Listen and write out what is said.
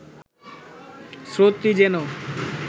স্রোতটি যেন